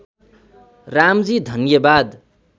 रामजी धन्यवाद